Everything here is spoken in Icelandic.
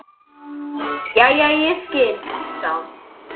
Jæja, ég skil, sagði hún.